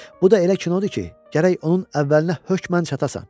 Bu da elə kinodur ki, gərək onun əvvəlinə hökmən çatasan.